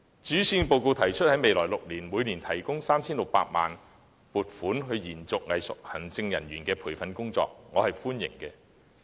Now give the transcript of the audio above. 對於施政報告提出在未來6年，每年撥款 3,600 萬元為作延續藝術行政人員培訓工作之用，我表示歡迎。